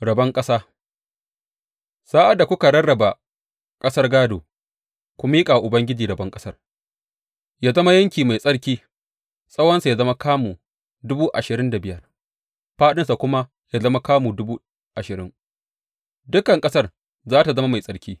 Rabon ƙasa Sa’ad da kuka rarraba ƙasar gādo, ku miƙa wa Ubangiji rabon ƙasar ya zama yanki mai tsarki, tsawonsa ya zama kamu dubu ashirin da biyar fāɗinsa kuma ya zama dubu ashirin, dukan ƙasar za tă zama mai tsarki.